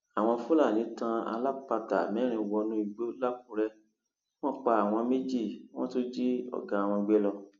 àwọn fúlàní tan alápatà mẹrin wọnú igbó lakúrẹ wọn pa àwọn méjì wọn tún jí ọgá wọn gbé lọ